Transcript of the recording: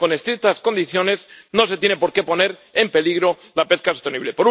Con estrictas condiciones, no se tiene por qué poner en peligro la pesca sostenible.